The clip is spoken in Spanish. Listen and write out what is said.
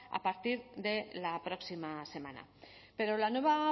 a partir de la próxima semana pero la nueva